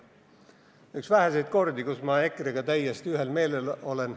See on üks väheseid kordi, kui ma EKRE-ga täiesti ühel meelel olen.